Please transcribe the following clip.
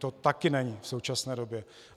To také není v současné době.